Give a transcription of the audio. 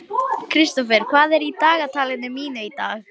Starri, ekki fórstu með þeim?